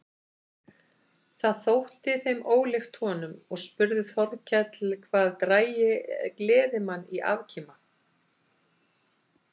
Það þótti þeim ólíkt honum og spurði Þórkell hvað drægi gleðimann í afkima.